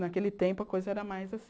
Naquele tempo, a coisa era mais assim.